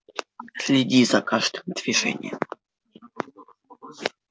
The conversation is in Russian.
следи за каждым движением